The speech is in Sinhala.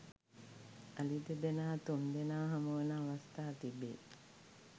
අලි දෙදෙනා තුන්දෙනා හමුවන අවස්ථා තිබේ